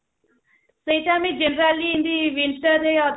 ସେଟା ଆମେ generally ଏମତି insta ରେ